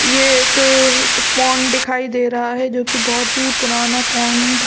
ये एक पोंड दिखाई दे रहा है जोकि बहुत ही पुराना पोंड --